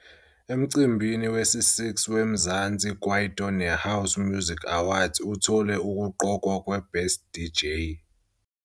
Emcimbini wesi -6 weMzansi Kwaito neHouse Music Awards uthole ukuqokwa kweBest DJ.